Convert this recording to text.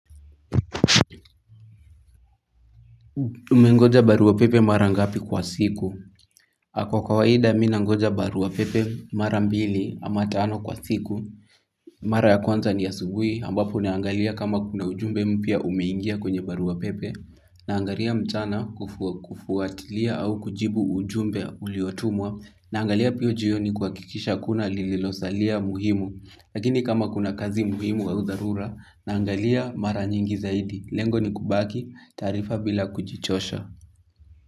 Umengoja barua pepe mara ngapi kwa siku? Kwa kawaida mi nangoja barua pepe mara mbili ama tano kwa siku. Mara ya kwanza ni asubuhi ambapo naangalia kama kuna ujumbe mpya umeingia kwenye barua pepe. Naangalia mchana kufuatilia au kujibu ujumbe uliotumwa. Naangalia pio jioni kuhakikisha hakuna lililosalia muhimu. Lakini kama kuna kazi muhimu au dharura naangalia mara nyingi zaidi. Lengo ni kubaki taarifa bila kujichosha.